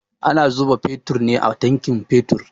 Ana zuba fetur ne a tankin fetur